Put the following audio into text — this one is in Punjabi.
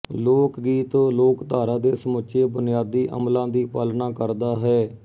ਲੋਕ ਗੀਤ ਲੋਕਧਾਰਾ ਦੇ ਸਮੁੱਚੇ ਬੁਨਿਆਦੀ ਅਮੁਲਾਂ ਦੀ ਪਾਲਣਾ ਕਰਦਾ ਹੈ